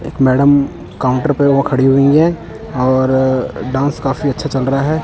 एक madam counter पे वो खड़ी हुई है और डांस काफी अच्छा चल रहा है।